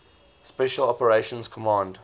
special operations command